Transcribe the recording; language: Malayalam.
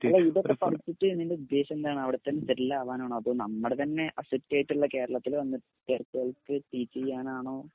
അല്ല ഇതൊക്കെ പഠിപ്പിച്ച് നിന്റോദ്ദേശെന്താണവിടത്തന്നെ സെറ്റിലാവാനാണോ അതോ നമ്മടെത്തന്നെ അസറ്റായിട്ട്ള്ള കേരളത്തില് വന്ന് ടീച്ചെയ്യാനാണോ?